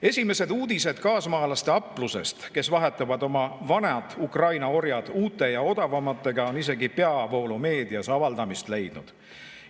Esimesed uudised kaasmaalaste aplusest, kes vahetavad oma vanad Ukraina orjad uute ja odavamate vastu, on isegi peavoolumeedias avaldamist leidnud.